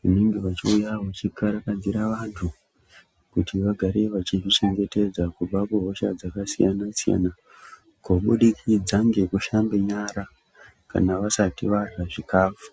vanenge vachiuya ,vachikarakadzira vantu kuti vagare vachizvichengetedza kubva kuhosha dzakasiyana-siyana, kubudikidza ngekushambe nyara kana vasati varya chikafu.